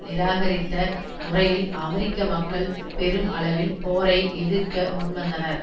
நிராகரித்த முறையில் அமெரிக்க மக்கள் பெரும் அளவில் போரை எதிர்க்க முன்வந்தனர்